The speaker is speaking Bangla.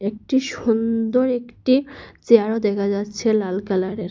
একটি সুন্দর একটি চেয়ারও দেখা যাচ্ছে লাল কালারের।